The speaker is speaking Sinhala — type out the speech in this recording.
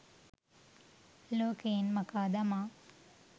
ලෝකයෙන් මකා දමා